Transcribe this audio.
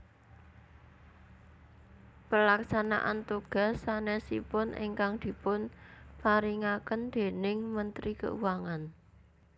Pelaksanaan tugas sanesipun ingkang dipun paringaken déning Menteri Keuangan